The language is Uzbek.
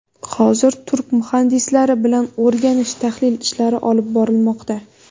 Hozir turk muhandislari bilan o‘rganish-tahlil ishlari olib borilmoqda.